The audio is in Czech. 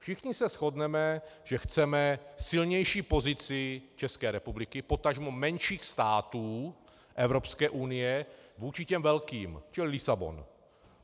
Všichni se shodneme, že chceme silnější pozici České republiky, potažmo menších států Evropské unie, vůči těm velkým, čili Lisabon.